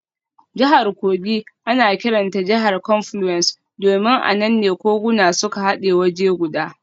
Jihar Kogi ana kiranta jihar confluence domin a nan ne koguna suka hade waje guda.